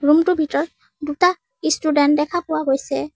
ৰূমটোৰ ভিতৰত দুটা ষ্টুডেন্ট দেখা পোৱা গৈছে।